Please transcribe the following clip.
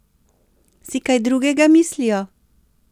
Si kaj drugega mislijo?